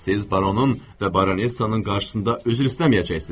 Siz baronun və baronessanın qarşısında üzr istəməyəcəksiniz.